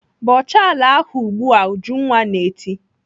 "Bọchaa ala ahụ ugbu a!" Ujunwa na-eti.